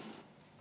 Head kolleegid!